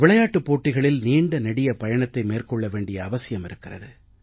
விளையாட்டுப் போட்டிகளில் நீண்ட நெடிய பயணத்தை மேற்கொள்ள வேண்டிய அவசியம் இருக்கிறது